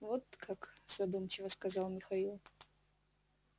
вот как задумчиво сказал михаил